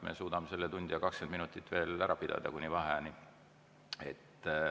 Me suudame selle tunni ja 20 minutit veel istungit pidada, kuni vaheajani.